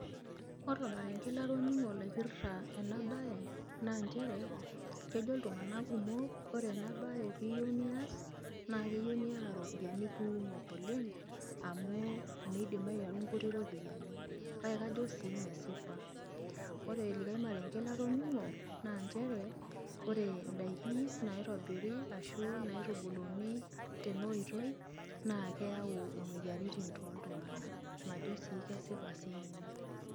Ore ormareng'e latoning'o laipirta ena baye naa injere kejo iltung'anak kumok ore ena baye pee iyeu nias, naake eyeu niyata iropiani kuumok oleng', amu miiidim ainyang'u nkuti ropiani kake kajo sii mesipa. Ore likai mareng'e latoning'o ,naa njere ore ndaiki naitobiri ashu naitubuluni tena oitoi naake eyau moyiaritin tooltung'anak. Majo sii kesipa siinye ina.